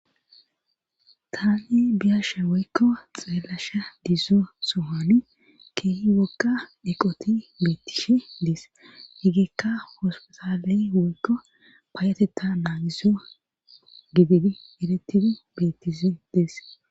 tane biyasha woykko xeellasha dizzo sohani keehi wogka eqoti beettishe dees heggekka hospetaley woykko paayateta naaniso gibidi eretidi bettisi dees